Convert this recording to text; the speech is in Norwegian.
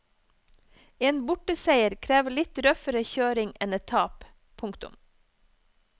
En borteseier krever litt røffere kjøring enn et tap. punktum